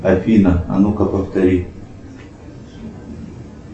афина а ну ка повтори